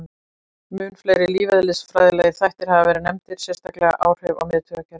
Mun fleiri lífeðlisfræðilegir þættir hafa verið nefndir, sérstaklega áhrif á miðtaugakerfið.